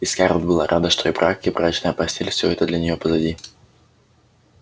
и скарлетт была рада что и брак и брачная постель всё это для неё позади